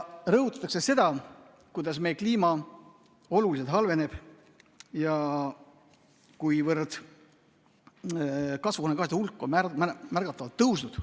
Rõhutatakse seda, kuidas meie kliima oluliselt halveneb ja kasvuhoonegaaside hulk on märgatavalt tõusnud.